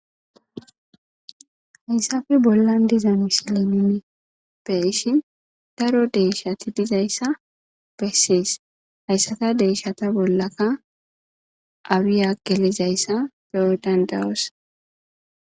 Haysappe bollan diza misiley nuni beyishin daro deyshati dizaysa beses. Haysata deyishata bollaka awiya gelizaysa beyo danda'osi.